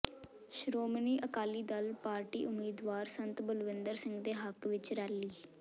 Shiromani Akali Dal party ਉਮੀਦਵਾਰ ਸੰਤ ਬਲਵੀਰ ਸਿੰਘ ਦੇ ਹੱਕ ਵਿੱਚ ਰੈਲੀ